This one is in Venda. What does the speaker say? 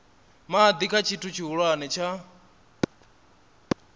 madi kha tshithu tshihulwane tsha